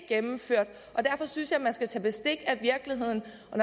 gennemført og derfor synes jeg man skal tage bestik af virkeligheden og